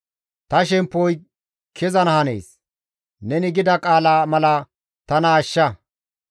Ta shemppoy kezana hanees; neni gida qaala mala tana ashsha.